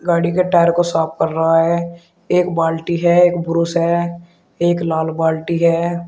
गाड़ी के टायर को साफ कर रहा है एक बाल्टी है एक ब्रश है एक लाल बाल्टी है।